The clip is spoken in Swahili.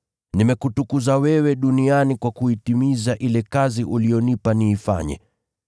Nimekutukuza wewe duniani kwa kuitimiza ile kazi uliyonipa niifanye.